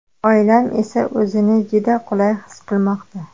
Oilam esa o‘zini juda qulay his qilmoqda.